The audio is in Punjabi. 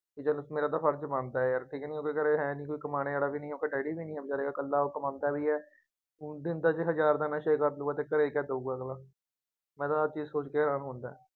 ਮੇਰਾ ਤਾਂ ਫਰਜ਼ ਬਣਦਾ ਹੈ ਯਾਰ ਠੀਕ ਕਿ ਨਹੀਂ ਉਹਦੇ ਘਰੇ ਹੈ ਨਹੀਂ ਕੋਈ, ਕਮਾਉਣੇ ਵਾਲਾ ਵੀ ਨਹੀਂ, ਹੁਣ ਤਾਂ ਡੈਡੀ ਵੀ ਨਹੀਂ, ਹੁਣ ਤਾਂ ਰਿਹਾ ਇਕੱਲਾ, ਉਹ ਕਮਾਉਂਦਾ ਵੀ ਹੈ। ਹੁਣ ਜੇ ਅੱਧੇ ਤੋਂ ਜ਼ਿਆਦਾ ਦੇ ਨਸ਼ੇ ਕਰ ਲਊਗਾ ਅਤੇ ਘਰੇ ਕਿਆ ਦੇਊਗਾ ਅਗਲਾ, ਮੈਂ ਤਾਂ ਆਹ ਚੀਜ਼ ਸੋਚ ਕੇ ਹੈਰਾਨ ਹੁੰਦਾ।